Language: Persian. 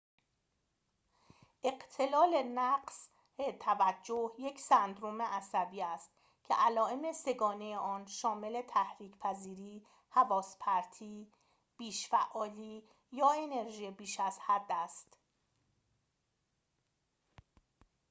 اختلال نقص توجه یک سندرم عصبی است که علائم سه گانه آن شامل تحریک پذیری حواس پرتی بیش فعالی یا انرژی بیش از حد است